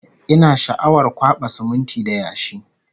Ina sha'awar kwaɓa siminti da yashi